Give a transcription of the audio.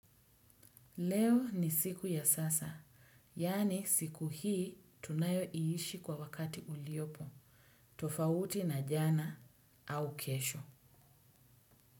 Leo ni siku ya sasa. Yaani, siku hii tunayo iishi kwa wakati uliopo. Tofauti na jana, au kesho.